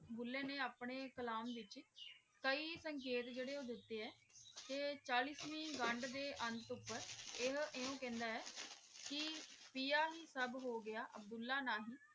ਭੂਲੇ ਨੇ ਅਪਨੇ ਕਲਾਮ ਲਿਖੀ ਕਈ ਸੰਕੀਤ ਜੇਰੇ ਊ ਦਿਤੇ ਆ ਤੇ ਚਾਲੀਸਵੇਂ ਗੰਦ ਦੇ ਅੰਤ ਉਪਰ ਇਹ ਐਵੇ ਕਹੰਦਾ ਆਯ ਕੀ ਪਿਯਾ ਹੀ ਸਬ ਹੋਵੀ ਅਬ੍ਦੁਲ੍ਲਾਹ ਨਹੀ